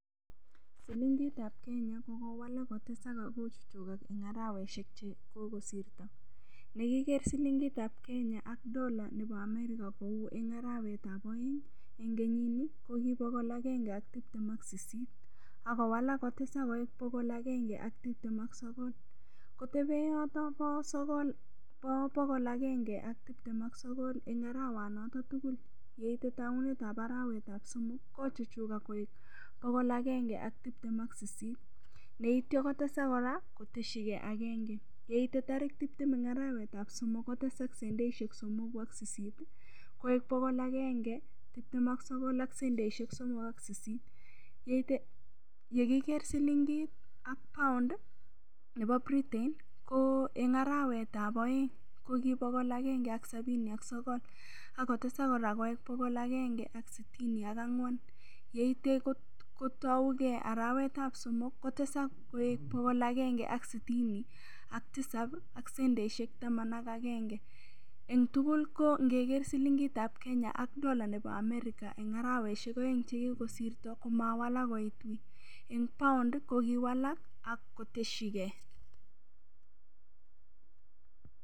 Silingitab Kenya kokowalak kotesak akochuchukak eng' araweshek chekokosirto ndakiker silingitab Kenya ak Dolla nebo America kou eng' arawetab oeng' eng' kenyini kokibokol agenge ak tiptem ak sisit akowalak kotesak koek bokol agenge ak tiptem ak sogol kotebe yoto bo bokol agenge ak tiptem ak sogol eng' arawanoto tugul yeitei tounetab arawet ab somok kochuchukak koek bokol agenge ak tiptem ak sisit neityo kotesak kora kotesigei agenge yeite tarik tiptem eng' arawetab somok kotesak sendishek somoku ak sisit koeng bokol agenge tiptem ak sogol ak sendishek somok ak sisit yekiker silingit ak pound nebo Britain ko eng' arawetab oeng' ko kibokol agenge ak sabini ak sogol akotesak kora koen bokol agenge ak sitini ak ang'wan yeityo kotougei arawetab somok kotesak koek bokol agenge ak sitini ak tisap aak sendishek taman ak agenge eng' tugul ko ngeger silingitab Kenya ak Dolla nebo America eng' araweshek oeng' chekikosirto komawalak koitwei eng' pound kokiwalak koteshigei